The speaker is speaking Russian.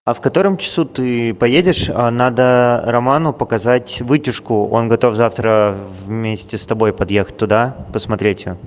а в котором часу ты поедешь надо роману показать вытяжку он готов завтра вместе с тобой подъехать туда и посмотреть её